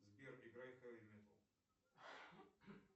сбер играй хэви метал